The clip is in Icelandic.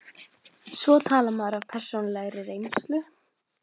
Svo talar maður af persónulegri reynslu.